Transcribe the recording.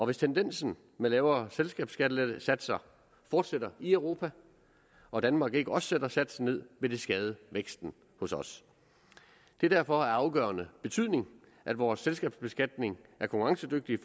hvis tendensen med lavere selskabsskattesatser fortsætter i europa og danmark ikke også sætter satsen ned vil det skade væksten hos os det er derfor af afgørende betydning at vores selskabsbeskatning er konkurrencedygtig